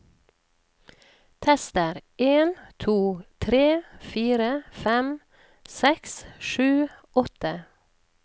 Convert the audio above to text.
Tester en to tre fire fem seks sju åtte